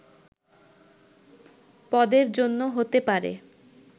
পদের জন্য হতে পারে”